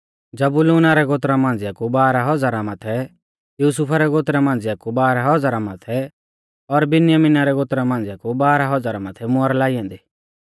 जबूलूना रै गोत्रा मांझ़िया कु बाराह हज़ारा माथै युसुफा रै गोत्रा मांझ़िया कु बाराह हज़ारा माथै और बिन्यामिना रै गोत्रा मांझ़िया कु बाराह हज़ारा माथै मुहर लाई ऐन्दी